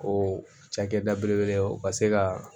O cakɛda belebeleba o ka se ka